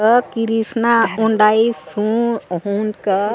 आ कृष्णा हुंडई सो ऊ आ --